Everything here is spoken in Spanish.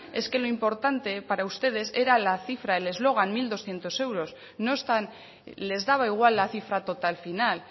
es que lo importante para ustedes era la cifra el eslogan mil doscientos euros no están les daba igual la cifra total final